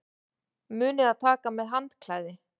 Munið að taka með handklæði!